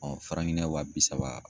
Giniɲɛn wa bi saba.